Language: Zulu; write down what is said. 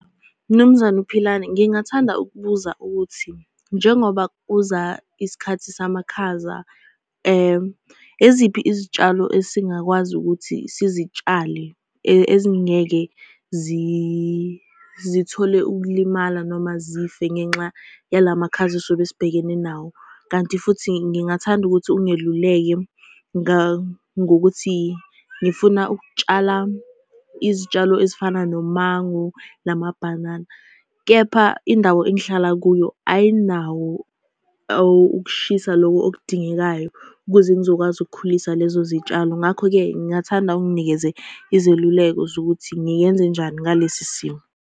Mnumzane uPhilane, ngingathanda ukubuza ukuthi, njengoba kuza isikhathi samakhaza, yiziphi izitshalo esingakwazi ukuthi sizitshalele, ezingeke zithole ukulimala noma zife ngenxa yala makhaza esizobe sibhekene nawo? Kanti futhi ngingathanda ukuthi ungeluleke ngokuthi ngifuna ukutshala izitshalo ezifana nomango namabhanana, kepha indawo engihlala kuyo ayinawo ukushisa loku okudingekayo, ukuze ngizokwazi ukukhulisa lezo zitshalo, ngakho-ke ngingathanda unginikeze izeluleko zokuthi ngiyenze njani ngalesi simo.